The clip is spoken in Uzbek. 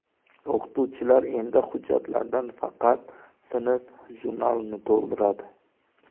O‘qituvchilar endi hujjatlardan faqat sinf jurnalini to‘ldiradi.